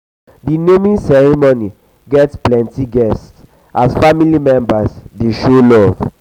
the naming ceremony get plenty guests as family members dey show love.